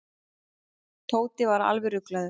Tóti var alveg ruglaður.